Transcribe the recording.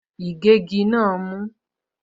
Ìgégi náà mú.